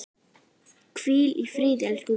Hvíl í friði, elsku Gunna.